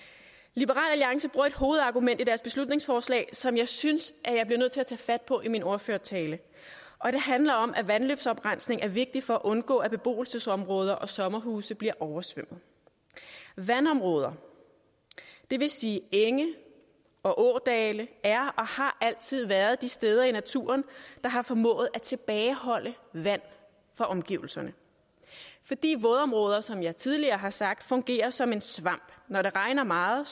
liberal alliance bruger et hovedargument i deres beslutningsforslag som jeg synes jeg bliver nødt til at tage fat på i min ordførertale og det handler om at vandløbsoprensning er vigtig for at undgå at beboelsesområder og sommerhuse bliver oversvømmet vandområder det vil sige enge og ådale er og har altid været de steder i naturen der har formået at tilbageholde vand fra omgivelserne fordi vådområder som jeg tidligere har sagt fungerer som en svamp når det regner meget